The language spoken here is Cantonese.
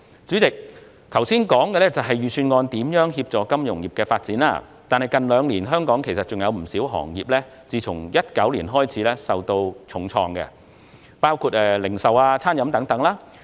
主席，我剛才談及預算案如何協助金融業發展，但其實香港不少其他行業自2019年起受到重創，當中包括零售業及餐飲業等。